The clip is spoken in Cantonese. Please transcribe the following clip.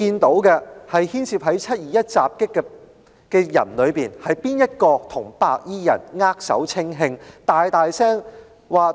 在"七二一"的襲擊事件中，是誰與白衣人握手稱兄道弟呢？